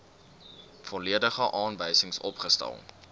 volledige aanwysings opgestel